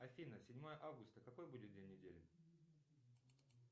афина седьмое августа какой будет день недели